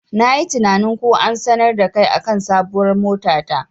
Nayi tinanin ko an sanar dakai akan sabuwar mota ta.